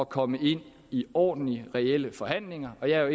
komme ind i ordentlige reelle forhandlinger og jeg er